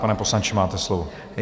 Pane poslanče, máte slovo.